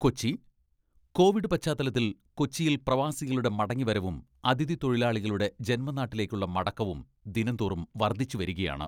Kochi, Covid പശ്ചാത്തലത്തിൽ കൊച്ചിയിൽ പ്രവാസികളുടെ മടങ്ങി വരവും അതിഥി തൊഴിലാളികളുടെ ജന്മനാട്ടിലേക്കുള്ള മടക്കവും ദിനംതോറും വർദ്ധിച്ചുവരികയാണ്.